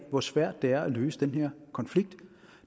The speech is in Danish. hvor svært det er at løse den her konflikt